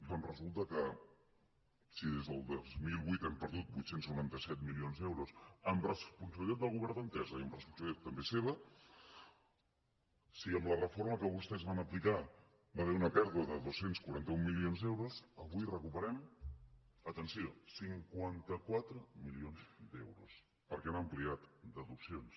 doncs resulta que si des del dos mil vuit hem perdut vuit cents i noranta set milions d’euros amb responsabilitat del govern d’entesa i amb responsabilitat també seva si amb la reforma que vostès van aplicar hi va haver una pèrdua de dos cents i quaranta un milions d’euros avui recuperem atenció cinquanta quatre milions d’euros perquè han ampliat deduccions